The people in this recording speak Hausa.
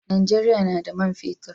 Najeriya na da man fetir